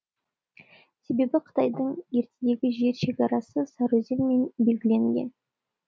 себебі қытайдың ертедегі жер шегарасы сары өзенмен белгіленетін